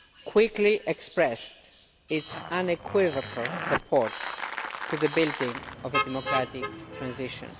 quickly expressed its unequivocal support for the building of a democratic transition.